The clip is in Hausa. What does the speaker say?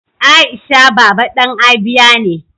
Aisha baba dan Abia ne.